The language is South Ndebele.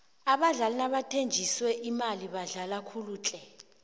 abadlali nabathenjiswe imali badlala kuhle tle